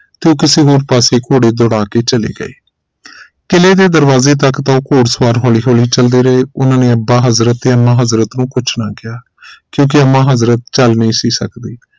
ਤੇ ਕਿਸੇ ਹੋਰ ਪਾਸੇ ਘੋੜੇ ਦੌੜਾ ਕੇ ਚਲੇ ਗਏ ਕਿਲੇ ਦੇ ਦਰਵਾਜ਼ੇ ਤਕ ਤਾਂ ਘੁੜਸਵਾਰ ਹੋਲੀ ਹੋਲੀ ਚਲਦੇ ਰਹੇ ਇਨ੍ਹਾਂ ਨੇ ਅੱਬਾ ਹਜ਼ਰਤ ਤੇ ਅੰਮਾ ਹਜ਼ਰਤ ਨੂੰ ਕੁਝ ਨਾ ਕਿਹਾ ਕਿਉਂਕਿ ਅੰਮਾ ਹਜ਼ਰਤ ਚਲ ਨਹੀਂ ਸੀ ਸਕਦੀ